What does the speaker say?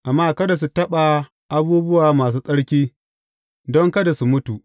Amma kada su taɓa abubuwa masu tsarki, don kada su mutu.